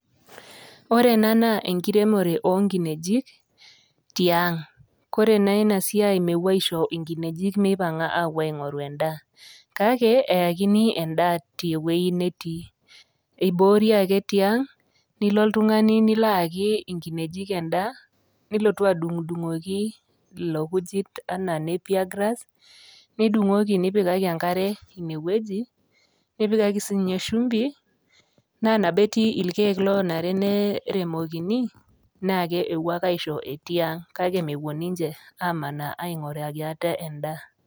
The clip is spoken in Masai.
Ore ena naa enkiremore o nkinejik tiang', kore naa ina siai mepuo aisho nkinejik mipang'a aapuo aing'oru endaa kake eyakini endaa te wuei netii. Iboori ake tiang' nilo oltung'ani nilo ayaki nkinejik endaa nilotu adung'dung'oki ilo kujit enaa nappier grass, nidung'oki nipikaki enkare ine wueji, nipikaki sininye shumbi naa nabo eti irkeek lonare neremokini naake epuo ake aisho etii ang' kake mepuo ninje amaana aing'uraki ate endaa.